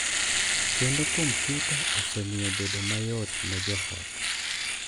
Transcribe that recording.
Kendo kompyuta osemiyo bedo mayot ne jo ot .